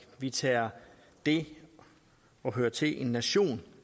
vi tager det at høre til en nation